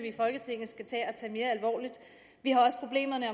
i folketinget vi har også problemerne